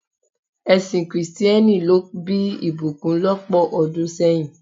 Ẹsìn kìrìsìtẹ́nì ló bí ìbùkún lọ́pọ̀ ọdún sẹ́yìn.